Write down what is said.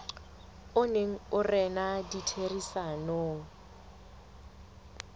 o neng o rena ditherisanong